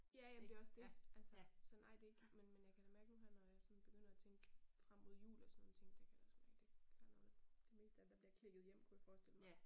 Ja ja, men det også det altså sådan ej det ikke men jeg kan da mærke nu her når jeg sådan begynder at tænke frem mod jul og sådan nogen ting der kan jeg da også mærke der er noget nok de fleste ting, der bliver klikket hjem kunne jeg forestille mig